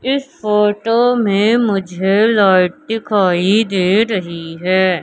इस फोटो में मुझे लाइट दिखाई दे रही है।